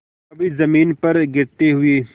कभी जमीन पर गिरते हुए